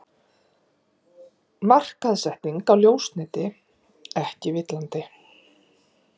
Markaðssetning á ljósneti ekki villandi